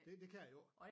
Det det det jo ikke